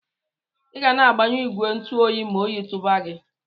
Iga na agbanyu igwe ntu oyi ma oyi tuba gi.